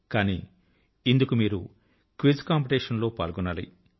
కానీ ఇందుకు మీరు క్విజ్ కాంపిటీషన్ లో పాల్గొనాలి